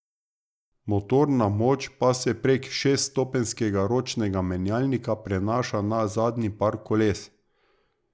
Motorna moč pa se prek šeststopenjskega ročnega menjalnika prenaša na zadnji par koles.